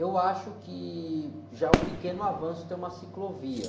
Eu acho que já é um pequeno avanço ter uma ciclovia.